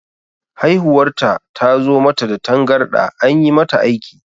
Haihuwar ta zo mata da tangarɗa, an yi mata aiki.